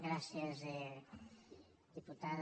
gràcies diputada